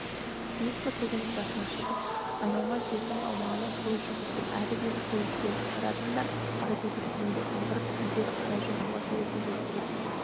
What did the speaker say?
биік бір төбенің басына шығып айналма жердің аумағына көз жүгірттім әрі-бері көз жіберіп қарадым да қайтуды кейінге қалдырып ілгері қарай жылжуға тәуекел еттім әлгі